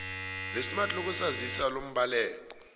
lesmart lokuzazisa lombaleki